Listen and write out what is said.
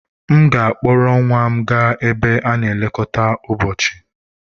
M ga-akpọrọ nwa m gaa ebe a na-elekọta ụbọchị.